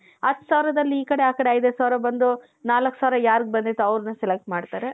ಹತ್ತು ಸಾವಿರದಲ್ಲಿ ಈಕಡೆ ಆಕಡೆ ಐದೈದು ಸಾವಿರ ಬಂದು ನಾಲ್ಕು ಸಾವಿರ ಯಾರಿಗೆ ಬಂದಿದೆ ಅವರನ್ನ select ಮಾಡ್ತಾರೆ